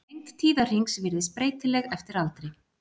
Lengd tíðahrings virðist breytileg eftir aldri.